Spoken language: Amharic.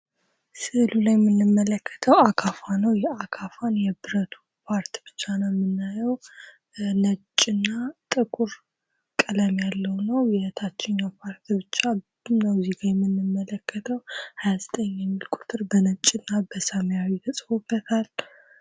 ስዕሉ ላይ ምንመለከተው አካፋነው የአካፋን የብረቱ ፖርት ብቻ ነው ምናየው። ነጭ ና ጥቁር ቀለም ያለው ነው። የታችኛው ፓርት ብቻ ነው። ዚጋ የምንመለከተው 29 የሚልቁትር በነጭ ና በሰማያዊ ተጽፎ በታል።